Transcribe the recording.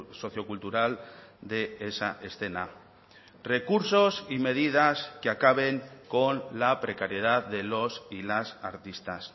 sociocultural de esa escena recursos y medidas que acaben con la precariedad de los y las artistas